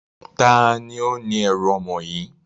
Taàní ó ní ẹ̀rù ọmọ yìí?